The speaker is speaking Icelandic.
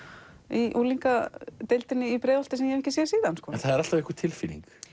í unglingadeildinni í Breiðholti sem ég hef ekki séð síðan en það er alltaf einhver tilfinning